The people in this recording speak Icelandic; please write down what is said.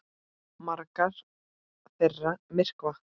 Margar þeirra myrkva.